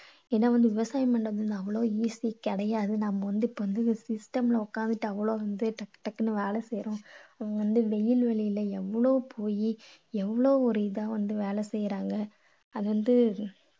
இதை வந்து விவசாயம் பண்றது அவ்வளோ easy கிடையாது. நம்ம வந்து இப்போ அந்து system ல உக்காந்துட்டு அவ்வளோ வந்து டக்கு டக்குன்னு வேலை செய்யறோம். இவங்க வந்து வெயில் மழையில எவ்வளோ புழுதி எவ்வளோ இதா வந்து வேலை செய்யறாங்க. அது வந்து